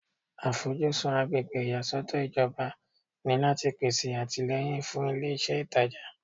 Àfojúsùn agbègbè ìyàsọ́tọ̀ ìjọba ni láti pèsè àtìlẹ́yìn fún ilé iṣẹ́ ìtajà